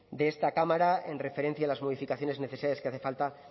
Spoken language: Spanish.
de esta cámara en referencia a las modificaciones y necesidades que hace falta